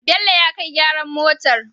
Bello ya kai gyaran motar